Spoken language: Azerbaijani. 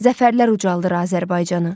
Zəfərlər ucaldır Azərbaycanı.